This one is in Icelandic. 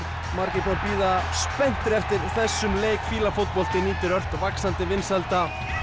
margir búnir að bíða spenntir eftir þessum leik fíla fótbolti nýtur ört vaxandi vinsælda